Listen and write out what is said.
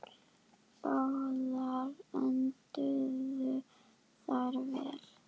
Báðar enduðu þær vel.